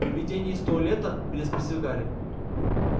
привидение из туалета переспросил гарри